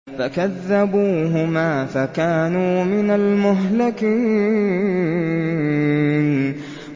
فَكَذَّبُوهُمَا فَكَانُوا مِنَ الْمُهْلَكِينَ